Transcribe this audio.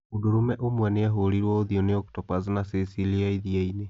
Mũndũrũme ũmwe nĩ ahũrirũo ũthiũ nĩ octopus na sea seal ya iriani